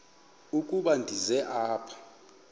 ukuba ndize apha